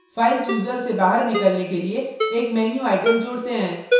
file chooser से बाहर निकलने के लिए एक menu item जोड़ते हैं